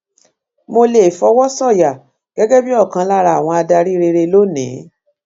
mo lè fọwọ sọyà gẹgẹ bíi ọkan lára àwọn adarí rere lónìí